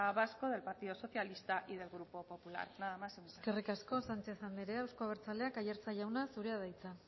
vasco del partido socialista y del grupo popular nada más y muchas gracias eskerrik asko sánchez andrea eusko abertzaleak aiartza jauna zurea da hitza